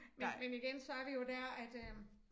Men men igen så er det jo dér at øh